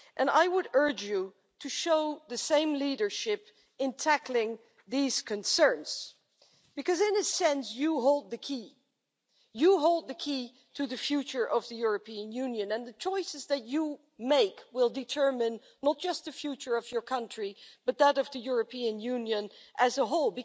I would urge you to show the same leadership in tackling these concerns, because in a sense you hold the key. You hold the key to the future of the European Union, and the choices that you make will determine not only the future of your country, but also that of the European Union as a whole.